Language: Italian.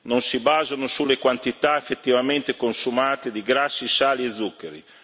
non si basano sulle quantità effettivamente consumate di grassi, sali e zuccheri.